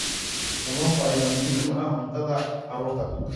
Kalluunka ayaa muhiim u ah cuntada carruurta.